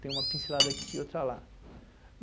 Tem uma pincelada aqui, outra lá.